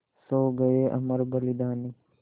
सो गये अमर बलिदानी